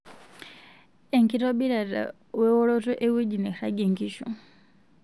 Ekitobirata weoroto engw'eji nairagie nkishu.